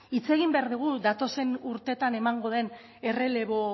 hitz egin behar dugu datozen urteetan emango den errelebo